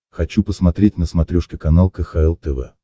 хочу посмотреть на смотрешке канал кхл тв